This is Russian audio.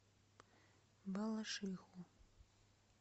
балашиху